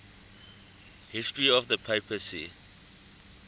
history of the papacy